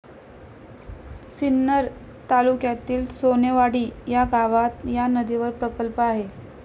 सिन्नर तालुक्यातील सोनेवाडी या गावात या नदीवर प्रकल्प आहे.